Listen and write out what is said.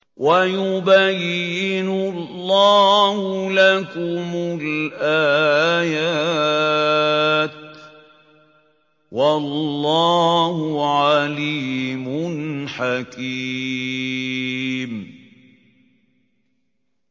وَيُبَيِّنُ اللَّهُ لَكُمُ الْآيَاتِ ۚ وَاللَّهُ عَلِيمٌ حَكِيمٌ